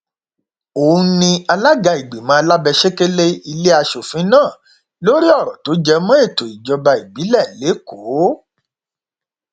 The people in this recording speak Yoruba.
bákan náà ni wọn bá mílíọnù méjì àti ẹgbẹrún lọnà ẹẹdẹgbẹta náírà lọwọ àwọn apánilékunjayé yìí